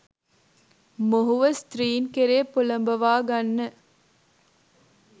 මොහුව ස්ත්‍රීන් කෙරේ පොළඹවාගන්න